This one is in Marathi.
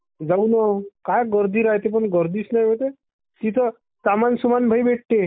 जाऊ मा काय गर्दी रायते पण गर्दीचा नई वय ते तिथं सामान सुमन लय भेटते.